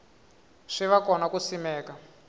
swi va kona ku simeka